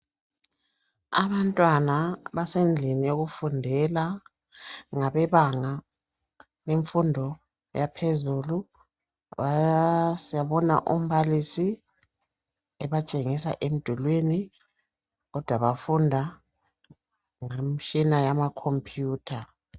Abantwana abasendlini yokufundela. Ngabebanga lemfundo yaphezulu. Siyabona umbalisi ebatshengisa emdulwini kodwa bafunda ngemtshina yama computer.